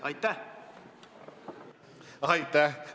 Aitäh!